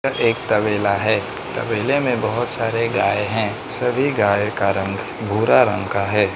यह एक तबेला है तबेले में बहोत सारे गाय हैं सभी गाय का रंग भूरा रंग का है।